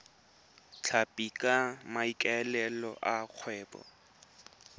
tlhapi ka maikaelelo a kgwebo